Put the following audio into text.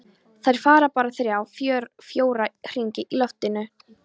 Þær fara bara þrjá, fjóra hringi í loftinu.